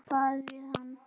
Og gera hvað við hann?